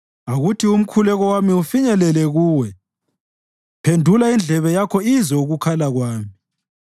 Akuthi umkhuleko wami ufinyelele kuwe; phendula indlebe yakho izwe ukukhala kwami.